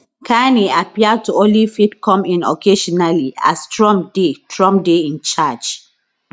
carney appear to only fit come in occasionally as trump dey trump dey in charge